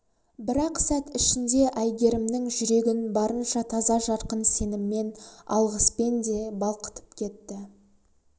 бір-ақ сәт ішінде әйгерімнің жүрегін барынша таза жарқын сеніммен алғыспен де балқытып кетті